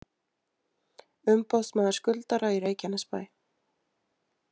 Umboðsmaður skuldara í Reykjanesbæ